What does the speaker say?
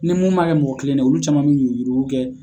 Ni mun ma kɛ mɔgɔ kelen ne ye olu caman bɛ yurukuyuruku kɛ.